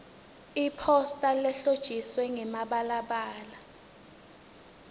iphosta lehlotjiswe ngemibalabala